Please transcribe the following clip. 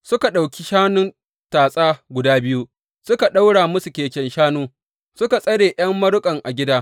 Suka ɗauki shanun tatsa guda biyu suka ɗaura musu keken shanu, suka tsare ’yan maruƙansu a gida.